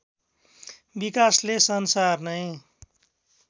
विकासले संसार नै